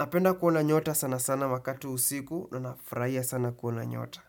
Napenda kuona nyota sana sana makati usiku na nafurahia sana kuona nyota.